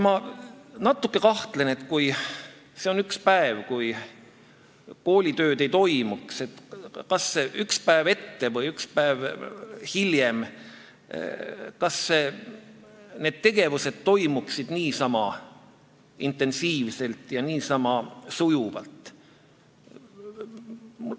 Ma natuke kahtlen, et kui sel päeval koolitööd ei toimuks, kas siis ühel päeval varem või hiljem need tegevused toimuksid niisama intensiivselt ja sujuvalt.